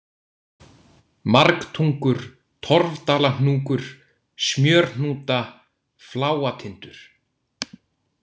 Margtungur, Torfdalahnúkur, Smjörhnúta, Fláatindur